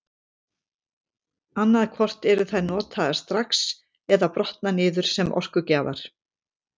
Annað hvort eru þær notaðar strax eða brotna niður sem orkugjafar.